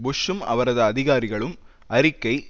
புஷ்சும் அவரது அதிகாரிகளும் அறிக்கை